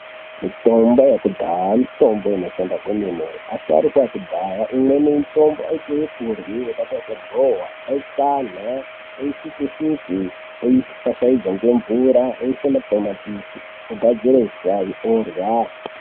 Mutombo yekudhaya mitombo inoshanda kwemene asharukwa ekudhaya aite ekurye ukatarise goowa aitana oise shuge oifashaidza ngemvura oisa matomatisi ogadzira usavi orya.